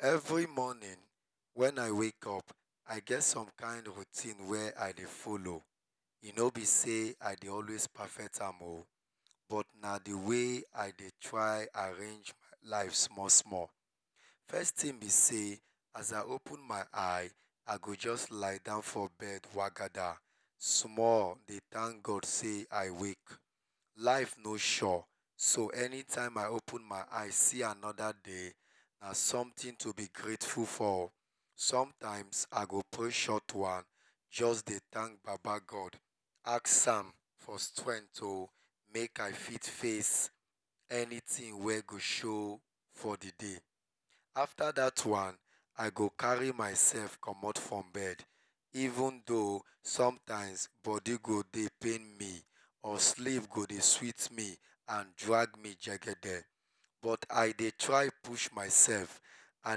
Every morning wen i wake up i get some kind of routine wey i dey follow, e no b sey i dey always perfect am o, but na d way i dey try arrange life small small, first thing b say as i open my eye i go jus lie down for bed wagada dey thank God sey i wake, life no sure so anytime i open my eyes see anoda day na somthing to be grateful for, sometimes i go pray short one jus dey thank papa God ask am for strength make i fit face anything wey go show for d day, afta dat one i go carry myself commot from bed even tho sometimes body go dey pain me or sleep go dey sweet me and drag me jegede but i dey try push myself, i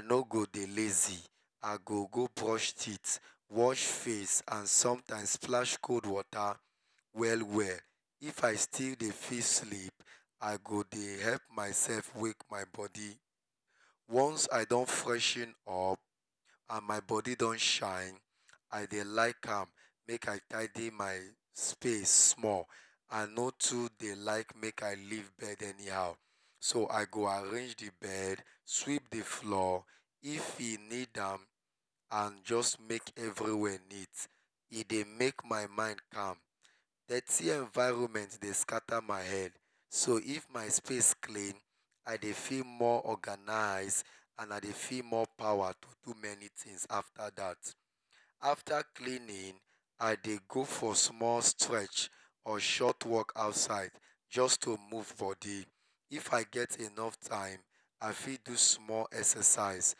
no go dey lazy i go go brush teeth, wash face and sometimes flash cold water well well, some times if i still dey feel sleep, i go dey help myself wake my body, ones i don freshen up and my body don shine i dey like am make i tidy my space small i no too dey like make i leave bed anyhow, so i go arrange d bed sweep d floor if e need am and jus make everywhere neat, e dey make my mind calm, dirty environment dey scatter my head so if my place dey neat i dey feel more organized and i dey feel more powa to do many things afta dat, afta cleaning i dey go for short walk or small strech outside, jus to move body if i get enuff time i fit do small exercise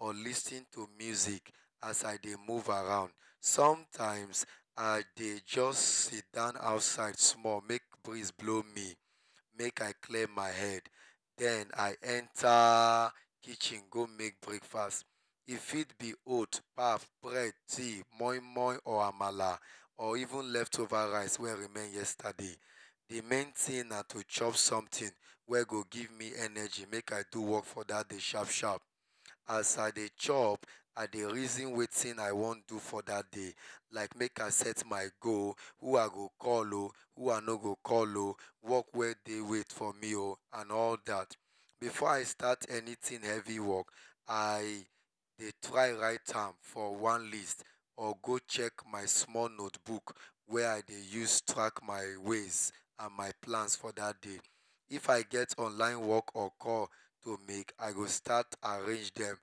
or lis ten to music as i dey move around sometimes i dey just sidon outside make breeze blow me mak i clear my head den i enta kitchen go make breakfast e fit b oat, bread, pap, moimoi or amala or even left over rice wey remain yesterday, d main thing na to chop something wey go give me enrgy wey go make me do work for dat day sharp sharp, as i dey chop i dey reason wetin i wan do for dat day make i set my goal like who i go call oh who i no go call oh, work wey dey wait for me oh and all dat before i start anything heavy work, i dey try write am for one list or go write am for my small notebook, wey i dey use track my ways and plans for dat day, if i get onliine work or call to make i go start arrange dem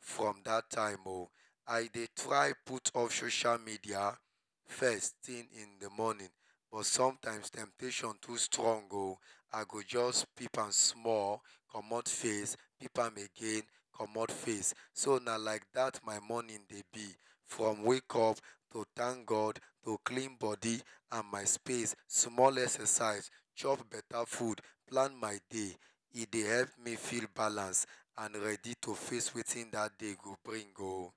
from dat time oh, i dey try put on social media first thing in d morning but sometimes, temptation too strong oh, i go jus peep am small commot face, peep am again commot face. So na like dat my morning dey b from wake up to thank God to clean body and my space, small exercise chop beta food, plan my day, e dey help me feel balance and ready to face wetin dat day go bring oh.